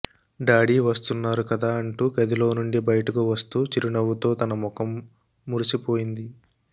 daddy వస్తున్నారు కదా అంటూ గదిలోనుండి బయటకి వస్తూ చిరునవ్వుతో తన ముఖం మెరిసిపోయింది